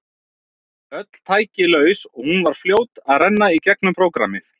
Öll tæki laus og hún var fljót að renna í gegnum prógrammið.